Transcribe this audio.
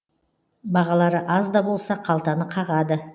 бағалары аз да болса қалтаны қағады